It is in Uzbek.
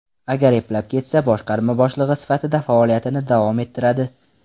Agar eplab ketsa, boshqarma boshlig‘i sifatida faoliyatini davom ettiradi.